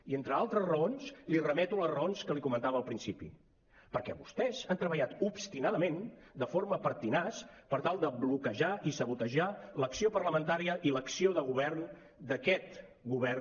i entre altres raons li remeto les raons que li comentava al principi perquè vostès han treballat obstinadament de forma pertinaç per tal de bloquejar i sabotejar l’acció parlamentària i l’acció de govern d’aquest govern